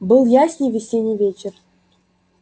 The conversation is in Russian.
был ясный весенний вечер